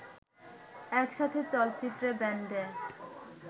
একসাথে চলচ্চিত্রে, ব্যান্ডে